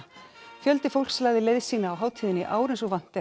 fjöldi fólks lagði leið sína á hátíðina í ár eins og vant er